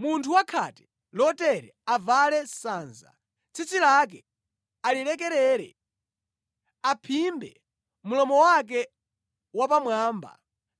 “Munthu wa khate lotere avale sanza, tsitsi lake alilekerere, aphimbe mlomo wake wapamwamba